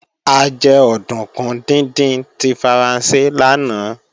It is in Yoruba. A jẹ òdùnkún díndín tí Faransé lánàá